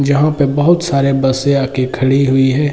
जहाँ पे बहुत सारे बसे आके खड़ी हुई है |